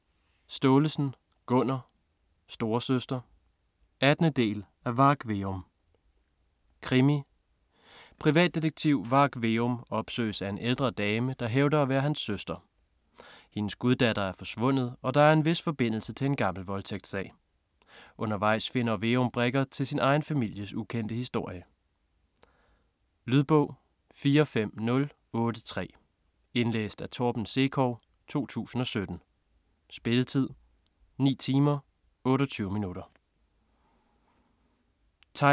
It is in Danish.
Staalesen, Gunnar: Storesøster 18. del af Varg Veum. Krimi. Privatdetektiv Varg Veum opsøges af en ældre dame, der hævder at være hans søster. Hendes guddatter er forsvundet, og der er en vis forbindelse til en gammel voldtægtssag. Undervejs finder Veum brikker til sin egen families ukendte historie. Lydbog 45083 Indlæst af Torben Sekov, 2017. Spilletid: 9 timer, 28 minutter.